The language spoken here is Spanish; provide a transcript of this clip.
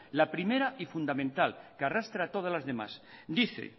la primera y fundamental que arrastra a todas las demás dice